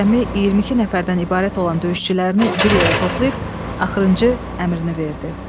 Cəmi 22 nəfərdən ibarət olan döyüşçülərini bir yerə toplayıb, axırıncı əmrini verdi.